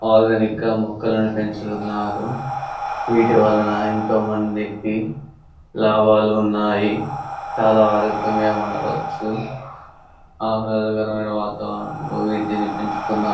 ఆదునికా మొకలను పెచుతున్నారు వీటి వల్లనా ఎంతో మందికి లాభాలు ఉన్నాయి. చాలా ఆర్యోగంగా ఊడవచ్చు ఆహ్లదకరమైన వాతావరణం వీటిని పెన్చుతున్నారు.